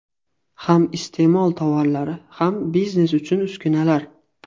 Ham iste’mol tovarlari, ham biznes uchun uskunalar.